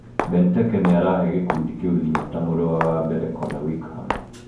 Benteke nĩ arahe gĩkundi kĩu hinya, ta mũrũa wa mbere Connor Wickham .